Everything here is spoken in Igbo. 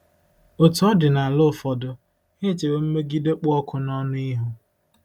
Otú ọ dị n'ala ụfọdụ, ha echewo mmegide kpụ ọkụ n'ọnụ ihu.